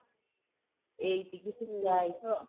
ଏଇ ସବୁ ସିଖା ହେଇଛି ଆଉ